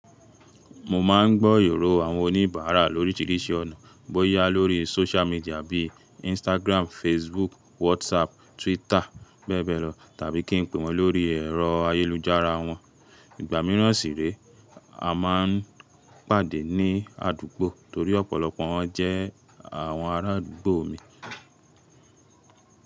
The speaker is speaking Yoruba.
Mo máa ń gbọ́ ìrò àwọn oníbàárà lórí oríṣiríṣi ọ̀nà, bóyá lórí sóṣú midià bí i Instagrámù, Facebúùkù, Wásápù, Twítà bẹ́ẹ̀ bẹ́ẹ̀ lọ tàbí kí n pè wọ́n lórí ẹ̀rọ ayélujára wọn. Ìgbà míràn sì réè, a máa ń pàdé ní àdúgbò torí ọ̀pọ̀lọpọ̀ wọn jẹ́ àwọn arádùgbò mi.